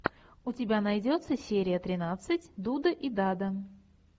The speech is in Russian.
у тебя найдется серия тринадцать дуда и дада